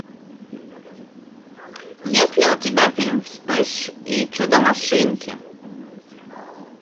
есть ли у тебя фильм вспыш и чудо машинки